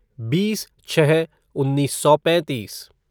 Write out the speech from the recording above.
बीस छः उन्नीस सौ पैंतीस